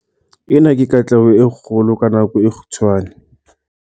Ena ke katleho e kgolo ka nako e kgutshwane.